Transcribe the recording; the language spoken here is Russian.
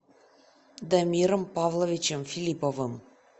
дамиром павловичем филипповым